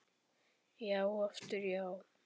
Já og aftur já.